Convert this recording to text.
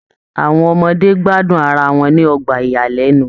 Àwọn ọmọdé gbádùn ará wọn ni ọgbà iyalẹnu